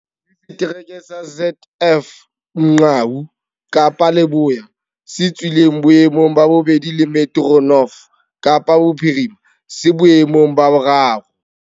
Le Setereke sa ZF Mgcawu, Kapa Leboya, se tswileng boemong ba bobedi le Metro North, Kapa Bophirima, se boemong ba boraro.